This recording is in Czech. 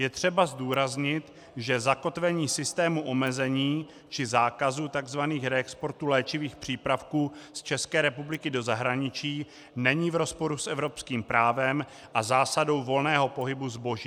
Je třeba zdůraznit, že zakotvení systému omezení či zákazu tzv. reexportů léčivých přípravků z České republiky do zahraničí není v rozporu s evropským právem a zásadou volného pohybu zboží.